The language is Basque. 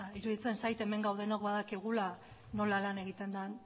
iruditzen zait hemen gaudenok badakigula nola lan egiten den